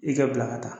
I kɛ bila ka taa